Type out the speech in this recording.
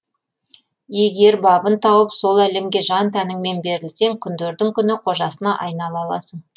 егер бабын тауып сол әлемге жан тәніңмен берілсең күндердің күні қожасына айнала аласың